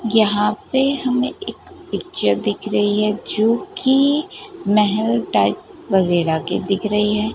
यहाँ पे हमें एक पिक्चर दिख रही है जो की महल टाइप वगैरा के दिख रही है।